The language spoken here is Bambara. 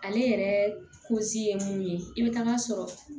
Ale yɛrɛ ye mun ye i bɛ taga sɔrɔ